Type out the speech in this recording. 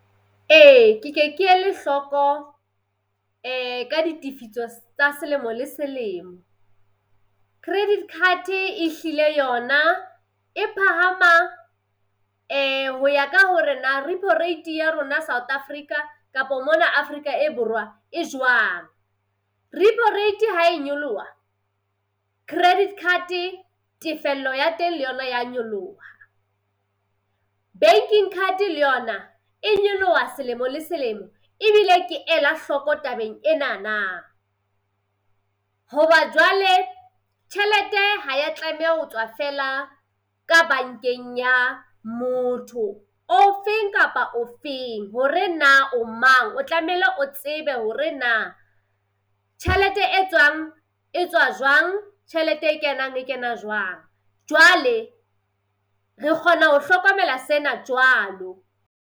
Ee ke ke ke ele hloko ka ditifiso tsa selemo le selemo. Credit card ehlile yona e phahama ho ya ka hore na repo rate ya rona South Africa kapa mona Afrika e Borwa e jwang. Repo rate hae nyoloha credit card-e tefello ya teng le yona ya nyoloha. Banking card le yona e nyoloha selemo le selemo ebile ke ela hloko tabeng enana. Hoba jwale, tjhelete ha ya tlameha ho tswa fela ka bankeng ya motho o feng kapa o feng, hore na o mang o tlamehile o tsebe hore na tjhelete e tswang e tswa jwang, tjhelete e kenang e kena jwang. Jwale re kgona ho hlokomela sena jwalo.